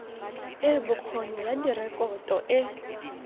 e bokgoni ya direkoto e